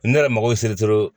Ne yɛrɛ mago bɛ se